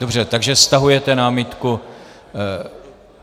Dobře, takže stahujete námitku.